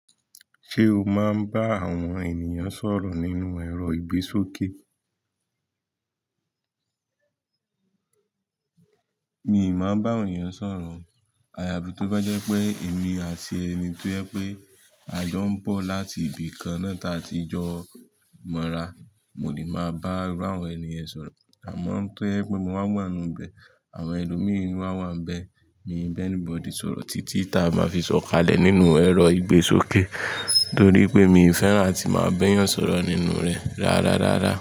Ṣé o máa ń bá àwọn ènìyàn sọ̀rọ̀ nínú ẹ̀rọ ìgbésókè? Mi ì máa ń bá ènìyàn sọ̀rọ̀. Àyàbí tó bá jẹ́ pé èmi àti ẹni tó jẹ́ pé a jọ ń bọ̀ láti ibi kan náà táa ti jọ mọ́ra, mo le máa bá iru àwọn ènìye sọ̀rọ̀. Àmọ́ tó jẹ́ pé mo wá wà níbẹ̀, àwọn ẹlòmíràn wá wà níbẹ̀, mi nì bani body sọ̀rọ̀ títí táa bá fi sọ̀kalẹ̀ nínú ẹ̀rọ ìgbésókè torí pé mi ò fẹ́ràn tí màá bẹ́yàn sọ̀rọ̀ nínú rẹ̀ rárárárá.